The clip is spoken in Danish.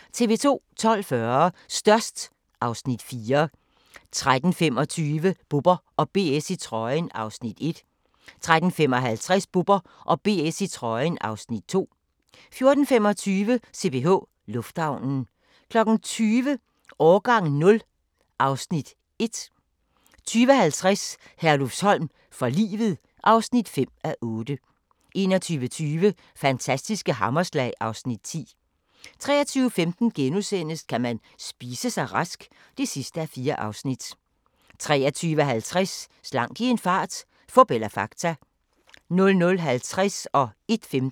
12:40: Størst (Afs. 4) 13:25: Bubber & BS i trøjen (Afs. 1) 13:55: Bubber & BS i trøjen (Afs. 2) 14:25: CPH Lufthavnen 20:00: Årgang 0 (Afs. 1) 20:50: Herlufsholm for livet (5:8) 21:20: Fantastiske hammerslag (Afs. 10) 23:15: Kan man spise sig rask? (4:4)* 23:50: Slank i en fart - fup eller fakta? 00:50: Grænsepatruljen